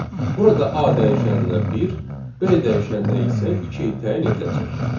Burada A dəyişəninə 1, B dəyişəninə isə 2 təyin ediləcək.